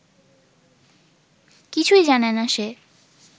কিছুই জানেনা সে